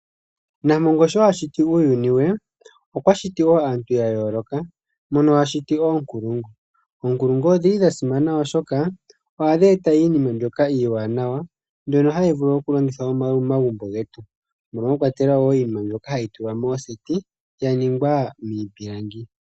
Nampongo sho a shiti uuyuni we, okwa siti wo aantu ya yooloka mono a shiti oonkulungu. Oonkulungu odhi li dha simana oshoka ohadhi eta iinima mbyoka iiwanawa mbyono hayi vulu okulongithwa momagumbo getu, mono mwa kwatelwa wo iinima mbyomahayi tulwa moseti ya ningwa miipilangi.